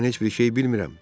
Axı mən heç bir şey bilmirəm.